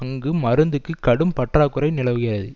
அங்கு மருந்துக்கு கடும் பற்றாக்குறை நிலவுகிறது